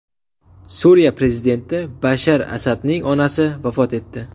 Suriya prezidenti Bashar Asadning onasi vafot etdi.